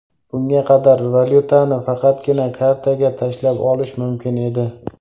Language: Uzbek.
Bunga qadar valyutani faqatgina kartaga tashlab olish mumkin edi.